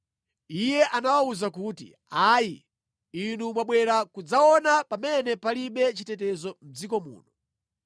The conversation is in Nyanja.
Iye anawawuza kuti, “Ayi! Inu mwabwera kudzaona pamene palibe chitetezo mʼdziko muno.”